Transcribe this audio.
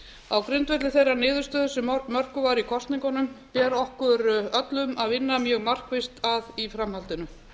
á grundvelli þeirrar niðurstöðu sem mörkuð var í kosningunum ber okkur öllum að vinna mjög markvisst að í framhaldinu